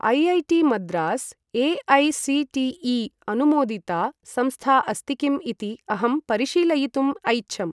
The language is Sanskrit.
IIT Madras AICTE. अनुमोदिता संस्था अस्ति किम् इति अहं परिशीलयितुम् ऐच्छम्।